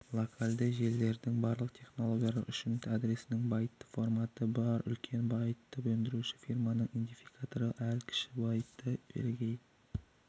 локальді желілердің барлық технологиялары үшін адресінің байтты форматы бар үлкен байты өндіруші фирманың идентификаторы ал кіші байтты бірегей